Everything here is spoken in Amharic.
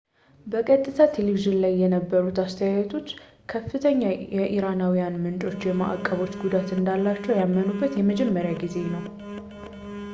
በቀጥታ ቴሌቪዝን ላይ የነበሩት አስተያየቶች ከፍተኛ ኢራናዊያን ምንጮች ማዕቀቦች ጉዳት እንዳላቸው ያመኑበት የመጀመሪያ ጊዜ ነው